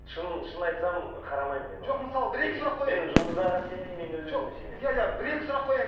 шын шын айтсам қарамаймын мен жоқ мысалы бір екі сұрақ қояйын мен жұлдыздарға сенбеймін мен өз өзіме сенемін иә иә бір екі сұрақ қояйын